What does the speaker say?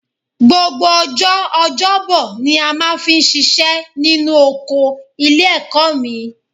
Gbogbo ọjọ́ ọjọ́bọ ni a máa fi ń ṣiṣẹ́ nínú oko ilé-ẹ̀kọ́ mi